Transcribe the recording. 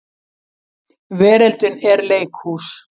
Veröldin er leikhús.